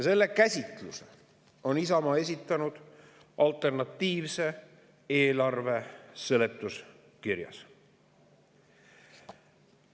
Selle käsitluse on Isamaa esitanud alternatiivse eelarve seletuskirjas.